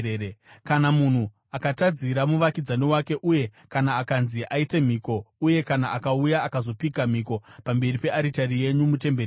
“Kana munhu akatadzira muvakidzani wake uye kana akanzi aite mhiko uye kana akauya akazopika mhiko pamberi pearitari yenyu mutemberi ino,